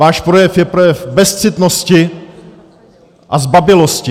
Váš projev je projev bezcitnosti a zbabělosti.